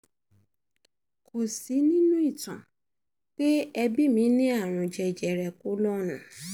kò sí nínú um ìtàn pé ẹbí mi ní àrùn jẹjẹrẹ kólọ́ọ̀nù